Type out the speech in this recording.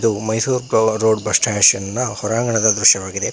ಇದು Mysore road bus station ಹೊರಾಂಗಣದ ದೃಶ್ಯವಾಗಿದೆ.